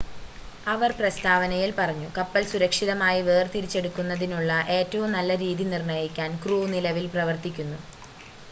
"അവർ പ്രസ്താവനയിൽ പറഞ്ഞു "കപ്പൽ സുരക്ഷിതമായി വേർതിരിച്ചെടുക്കുന്നതിനുള്ള ഏറ്റവും നല്ല രീതി നിർണ്ണയിക്കാൻ ക്രൂ നിലവിൽ പ്രവർത്തിക്കുന്നു"".